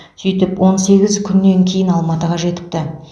сөйтіп он сегіз күннен кейін алматыға жетіпті